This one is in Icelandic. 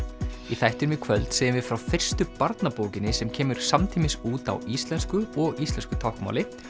í þættinum í kvöld segjum við frá fyrstu barnabókinni sem kemur samtímis út á íslensku og íslensku táknmáli